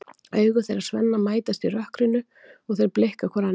Augu þeirra Svenna mætast í rökkrinu og þeir blikka hvor annan.